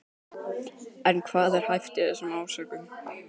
En hvað er hæft í þessum ásökunum?